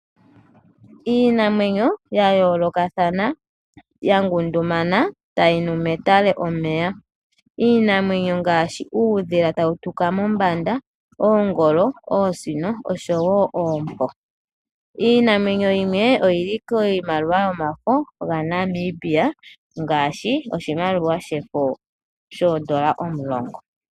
Iinamwenyo ya yoolokathana, ya ngundumana tayi nu metale omeya. Iinamwenyo ngaashi, uudhila tawu tuka mombanda, Oongolo, Oosino nosho wo Oompo. Iinamwenyo yimwe oya thanekwa kiimaliwa yOmafo gaNamibia ngaashi oshimaliwa shefo shoondola omulongo.